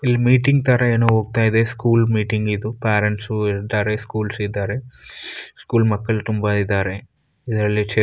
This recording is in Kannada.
ಇಲ್ಲಿ ಮೀಟಿಂಗ್‌ ತರ ಹೋಗ್ತಾ ಇದೆ. ಸ್ಕೂಲ್‌ ಮೀಟಿಂಗ್‌ ಇದು. ಪ್ಯಾರೆಂಟ್ಸು ಇದ್ದಾರೆ. ಸ್ಕೂಲ್ಸ್ ಇದ್ದಾರೆ. ಸ್ಕೂಲ್ ಮಕ್ಕಳು ತುಂಬಾ ಇದ್ದಾರೆ. ಇದರಲ್ಲಿ --